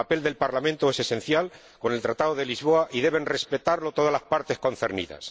El papel del Parlamento es esencial con el Tratado de Lisboa y deben respetarlo todas las partes concernidas.